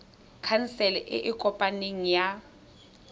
khansele e e kopaneng ya